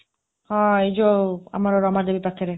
ହଁ, ଏଇ ଯୋଉ ଆମର ରମାଦେବୀ ପାଖରେ।